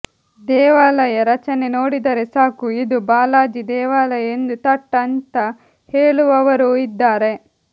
ದೇವಾಲಯ ರಚನೆ ನೋಡಿದರೆ ಸಾಕು ಇದು ಬಾಲಾಜಿ ದೇವಾಲಯ ಎಂದು ಥಟ್ ಅಂತ ಹೇಳುವವರೂ ಇದ್ದಾರೆ